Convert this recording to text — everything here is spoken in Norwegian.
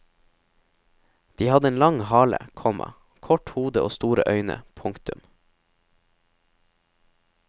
De hadde en lang hale, komma kort hode og store øyne. punktum